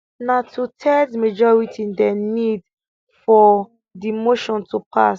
na twothirds majority dem need for for di motion to pass